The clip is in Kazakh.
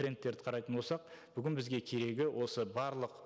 трендтерді қарайтын болсақ бүгін бізге керегі осы барлық